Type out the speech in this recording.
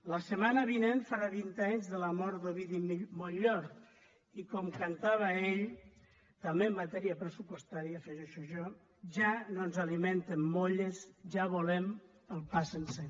la setmana vinent farà vint anys de la mort d’ovidi montllor i com cantava ell també en matèria pressupostària hi afegeixo jo ja no ens alimenten molles ja volem el pa sencer